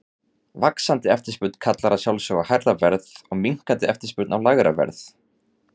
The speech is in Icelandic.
Vaxandi eftirspurn kallar að sjálfsögðu á hærra verð og minnkandi eftirspurn á lægra verð.